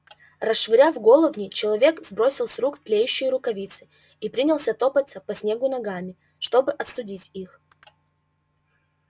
расшвыряв головни человек сбросил с рук тлеющие рукавицы и принялся топаться по снегу ногами чтобы остудить их